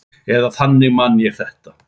Eða þannig man ég þetta.